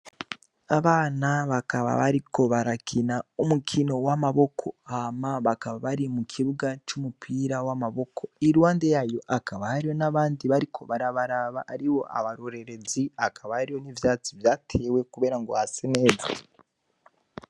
Abana bakaba bariko barakina umukino w'amaboko hama bakaba bari mu kibuga c'umupira w'amaboko irwande yayo akaba hariyo n'abandi bariko barabaraba ari wo abarorerezi akaba hariho n'ivyatsi vyatewe, kubera ngo hase nega.